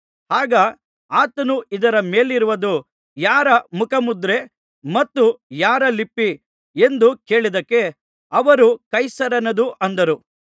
ಆಗ ಆತನು ಇದರ ಮೇಲಿರುವುದು ಯಾರ ಮುಖಮುದ್ರೆ ಮತ್ತು ಯಾರ ಲಿಪಿ ಎಂದು ಕೇಳಿದ್ದಕ್ಕೆ ಅವರು ಕೈಸರನದು ಅಂದರು